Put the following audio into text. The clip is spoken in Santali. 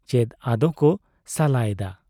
ᱪᱮᱫ ᱟᱫᱚᱠᱚ ᱥᱟᱞᱟ ᱮᱫᱟ ?